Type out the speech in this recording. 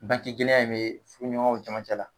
Banke gɛlɛya in be furu ɲɔgɔnw camancɛ la.